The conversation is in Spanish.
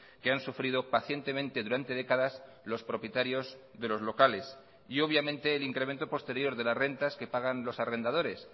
que han sufrido pacientemente durante décadas los propietarios de los locales y obviamente el incremento posterior de las rentas que pagan los arrendadores